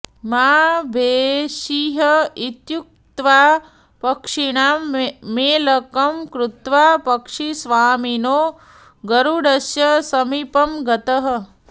मा भैषीः इत्युक्त्वा पक्षिणां मेलकं कृत्वा पक्षिस्वामिनो गरुडस्य समीपं गतः